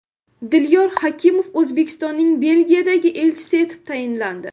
Dilyor Hakimov O‘zbekistonning Belgiyadagi elchisi etib tayinlandi.